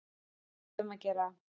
Við verðum að gera það.